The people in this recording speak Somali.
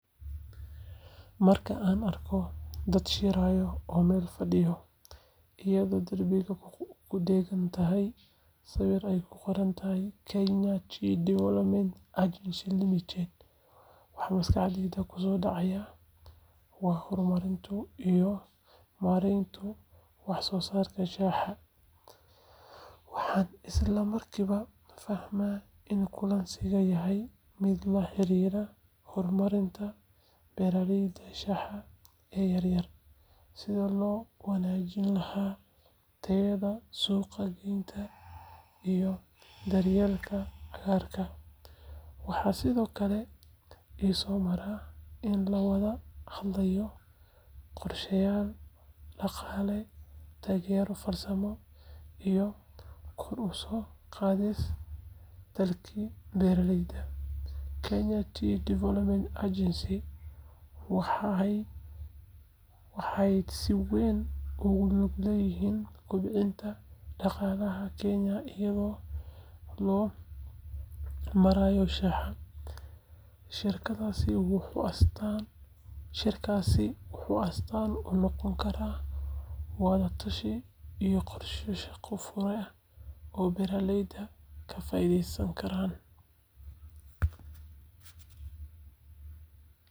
Marka aan arko dad shiraya oo meel fadhiyo, iyadoo darbiga ku dheggan yahay sawir ay ku qoran tahay Kenya Tea Development Agency Limited, waxa maskaxdayda ku soo dhacaya waa horumarka iyo maaraynta wax-soo-saarka shaaha. Waxaan isla markiiba fahmaa in kulankaasi yahay mid la xiriira horumarinta beeraleyda shaaha ee yar yar, sidii loo wanaajin lahaa tayada, suuq-geynta, iyo daryeelka cagaarka. Waxaa sidoo kale i soo mara in la wada hadlayo qorsheyaal dhaqaale, taageero farsamo, iyo kor u qaadidda dakhliga beeraleyda. Kenya Tea Development Agency waa hay’ad si weyn ugu lug leh kobcinta dhaqaalaha Kenya iyada oo loo marayo shaaha. Shirkaasi wuxuu astaan u noqon karaa wada-tashi iyo qorshe-shaqo hufan oo beeraleyda ka faa’iidayaan.